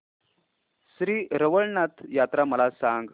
श्री रवळनाथ यात्रा मला सांग